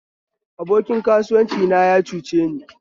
Abokin kasuwanci na ya cuceni